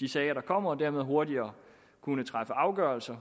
de sager der kommer og dermed hurtigere kunne træffe afgørelse